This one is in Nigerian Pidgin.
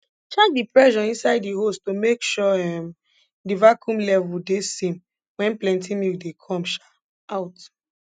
check di pressure inside di hose to make sure um di vacuum level de same wen plenty milk dey come um out